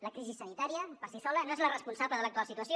la crisi sanitària per si sola no és la responsable de l’actual situació